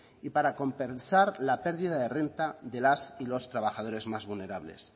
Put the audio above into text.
y para compensar la pérdida de renta de las y los trabajadores más vulnerables